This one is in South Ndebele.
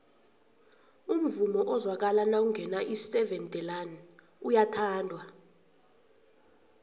umvumo ozwakala nakungena iseven delaan uyathandwa